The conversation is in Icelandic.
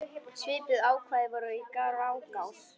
Svipuð ákvæði voru í Grágás.